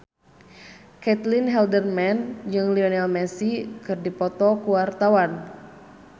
Caitlin Halderman jeung Lionel Messi keur dipoto ku wartawan